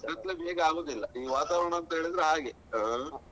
ಕತ್ಲೆ ಬೇಗ ಆಗುದಿಲ್ಲ ಈ ವಾತಾವರಣ ಅಂತ ಹೇಳಿದ್ರೆ ಹಾಗೆ ಆ.